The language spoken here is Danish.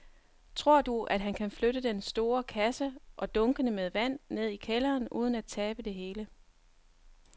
Tror du, at han kan flytte den store kasse og dunkene med vand ned i kælderen uden at tabe det hele?